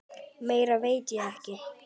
Meira veit ég ekki.